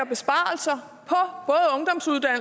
besparelser